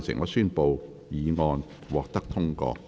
我宣布議案獲得通過。